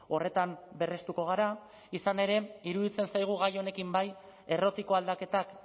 horretan berrestuko gara izan ere iruditzen zaigu gai honekin bai errotiko aldaketak